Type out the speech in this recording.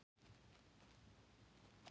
Það kom djúp karlmannsrödd í dyrasímann.